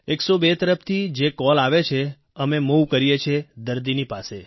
102 તરફથી જે કોલ આવે છે અમે મૂવ કરીએ છીએ દર્દીની પાસે